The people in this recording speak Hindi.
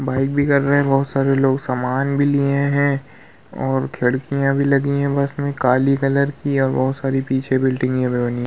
भी कर रहे हैं बोहोत सारे लोग सामान भी लिए हैं और खिडकियां भी लगी है बस मे काली कलर की और बोहोत सारी पीछे बिल्डिंगे भी बनी है।